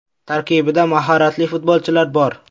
Tarkibida mahoratli futbolchilar bor.